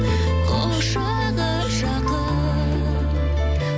құшағы жақын